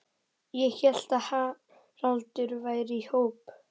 Ég hélt að Haraldur væri í hópi